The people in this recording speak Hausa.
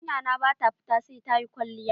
Yarinya na ba ta fita sai ta yi kwalliya.